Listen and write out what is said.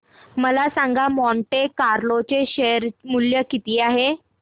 मला सांगा Monte Carlo चे शेअर मूल्य किती आहे